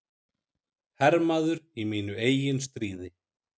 Hermaður í mínu eigin stríði.